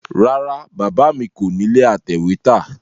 Rárá Bàbá mi kò nílé atẹ̀wẹ́tà